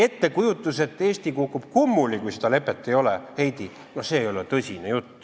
Ettekujutus, et Eesti kukub kummuli, kui seda lepet ei ole, Heidy, ei ole tõsine jutt.